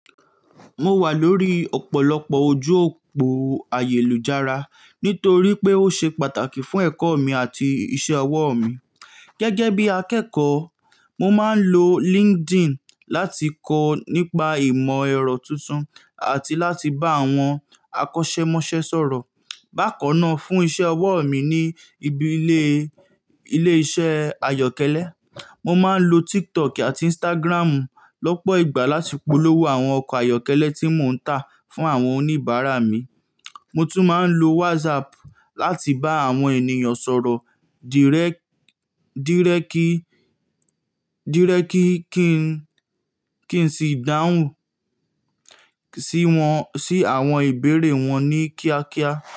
Mo wà lórí ọ̀pọ̀lọpọ̀ ojú òpó ayélujára nítorí pé ó ṣe pàtàkì fún ẹ̀kọ́ mi àti iṣẹ́ ọwọ́ mi. Gẹ́gẹ́ bí akẹ́kọ̀ọ́, mo máa ń lo LinkedIn láti kọ́ nípa ìmọ̀ ẹ̀rọ tuntun àti láti bá àwọn akọ́ṣẹ́mọṣẹ́ sọ̀rọ̀. Bákan náà, fún iṣẹ́ ọwọ́ mi ní ibi ilé, ilé-iṣẹ́ ayọ́kẹ́lẹ́, mo máa ń lo TikTok àti Instagram lọ́pọ̀ ìgbà láti polówó àwọn ọkọ̀ ayọ́kẹ́lẹ́ tí mò ń tà fún àwọn oníbàárà mi. Mo tún máa ń lo WhatsApp láti bá àwọn ènìyàn sọ̀rọ̀ díré, dírékì kí ń, kí n sì dáhùn sí wọn, sí àwọn ìbéèrè wọn ní kíákíá.